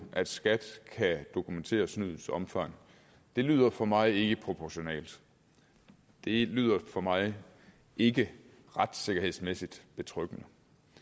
at skat kan dokumentere snydets omfang lyder for mig ikke proportionalt det lyder for mig ikke retssikkerhedsmæssigt betryggende